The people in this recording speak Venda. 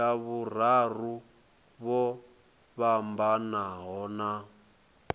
tsha vhuraru vho fhambanaho na